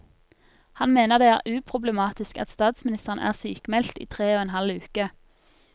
Han mener det er uproblematisk at statsministeren er sykmeldt i tre og en halv uke.